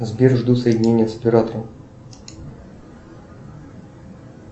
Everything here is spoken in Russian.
сбер жду соединения с оператором